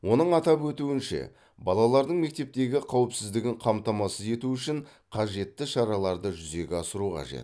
оның атап өтуінше балалардың мектептегі қауіпсіздігін қамтамасыз ету үшін қажетті шараларды жүзеге асыру қажет